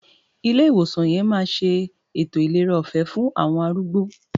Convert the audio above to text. Ilé ìwòsàn yẹn máa ṣe ètò ìlera ọ̀fẹ́ fún àwọn arúgbó.